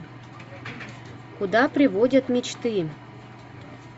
куда приводят мечты